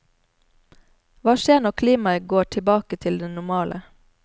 Hva skjer når klimaet går tilbake til det normale?